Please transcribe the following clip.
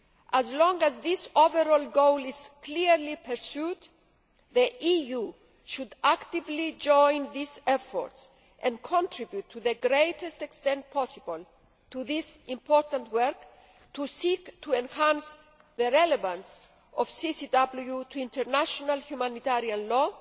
As long as this overall goal is clearly pursued, the EU should actively join these efforts and contribute to the greatest extent possible to this important work to seek to enhance the relevance of CCW to international humanitarian law